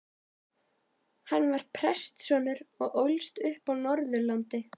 Hann var prestssonur og ólst upp á Norðurlandi.